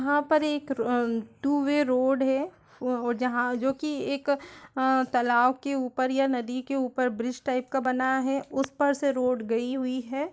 यहाँ पर एक र अं टू वे रोड है वो वो जहाँ जो कि एक तालाब के ऊपर या नदी के ऊपर ब्रिज टाइप का बना हुआ है उस पर से रोड गई हुई है।